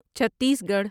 چھتیس گڑھ